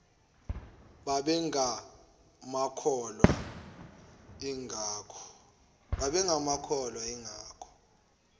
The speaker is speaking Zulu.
babenga makholwa ingakho